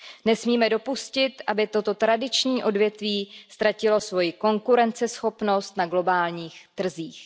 Nesmíme dopustit, aby toto tradiční odvětví ztratilo svoji konkurenceschopnost na globálních trzích.